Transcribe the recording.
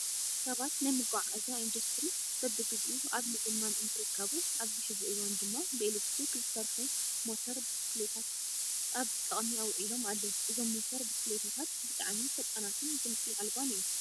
ሰባት ናይ መጓዓዓዝያ ኢንዳስትሪ በብግዚኡ ኣብ ምዝማን እንትርከቡ ኣብዚ ሕዚ እዋን ድማ ብኤሌትሪክ ዝሰርሑ ሞተር ብስክሌታት ኣብ ጥቅሚ ኣውኢሎም ኣለው። እዞም ሞተር ብስክሌታታት ብጣዕሚ ፈጣናትን ድምፂ ኣልባን እዮም።